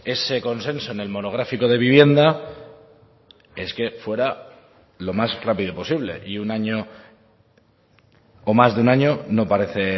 ese consenso en el monográfico de vivienda es que fuera lo más rápido posible y un año o más de un año no parece